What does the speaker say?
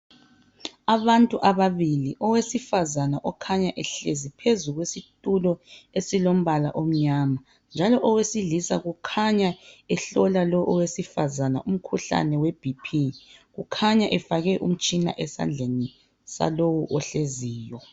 Abantu ababili, owesifazane okhanya ehlezi phezu kwesitulo esilombala omnyama njalo owesilisa kukhanya ehlola lo owesifazane umkhuhlane we"BP".Kukhanya efake umtshina esandleni salowo ohleziyo.